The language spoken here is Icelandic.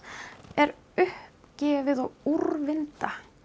er uppgefið og úrvinda